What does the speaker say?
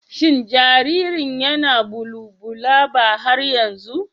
Shin jaririn yana bulubulaba har yanzu?